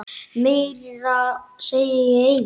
Meira segi ég eigi.